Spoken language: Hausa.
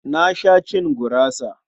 Na sha cin gurasa.